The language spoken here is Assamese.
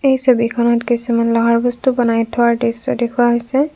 এই ছবিখনত কিছুমান লোহাৰ বস্তু বনাই থোৱাৰ দৃশ্য দেখুওৱা হৈছে।